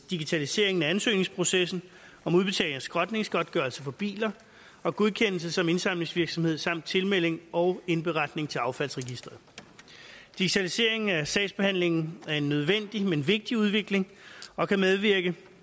digitaliseringen af ansøgningsprocessen om udbetaling af skrotningsgodtgørelse for biler og godkendelse som indsamlingsvirksomhed samt tilmelding og indberetning til affaldsregistret digitaliseringen af sagsbehandlingen er en nødvendig men vigtig udvikling og kan medvirke